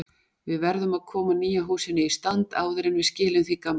Við verðum að koma nýja húsinu í stand áður en við skilum því gamla.